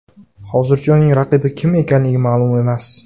Hozircha uning raqibi kim ekanligi ma’lum emas.